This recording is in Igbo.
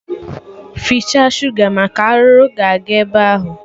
Fichaa shuga maka arụrụ ga-aga ebe ahụ